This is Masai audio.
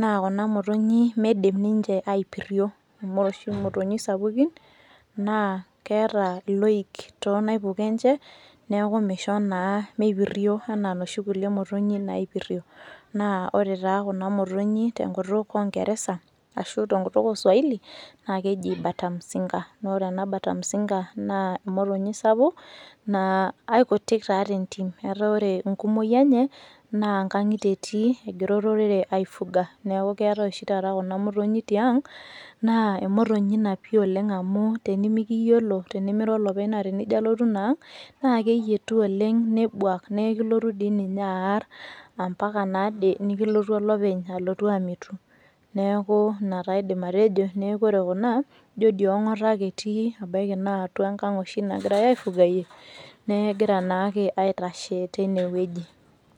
naa kuna motonyi meidim ninche aipirrio. Amu ore oshi imotonyik sapukin, naa keeta iloik tonaipuko enche, neeku misho naa mipirrio enaa noshi kulie motonyi naipirrio. Na ore taa kuna motonyi tenkutuk ongeresa, ashu tenkutuk oswaili, na keji bata mzinga. Na ore ena bata mzinga, naa emotonyi sapuk, naa akutik taa tentim. Etaa ore enkumoyu enye, naa nkang'itie etii, egira olorere ai fuga. Neeku keetae oshi taata kuna motonyik tiang, naa emotonyi napi oleng amu tenimikiyiolo, tenimira olopeny naa tenijo alotu inaang', naa keyietu oleng nebuak, nekilotu dii ninye aar, ampaka nade nikilotu olopeny alotu amitu. Neeku ina taa aidim atejo, neeku ore kuna, ijo di ong'ata ake etii, ebaiki naa atua enkang' oshi nagirai aifugayie, neegira naake aitashe tinewueji.